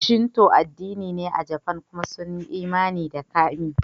Shinto addini ne a Jafan kuma sun yi imani da kami.